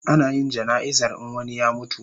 Ana yin jana'izar in wani ya mutu